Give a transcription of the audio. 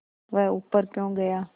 वह ऊपर क्यों गया